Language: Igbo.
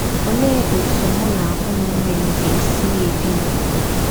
Ọlee ọtụ mụ na ụmụnne m ga - esi na - ebi n’ụdọ?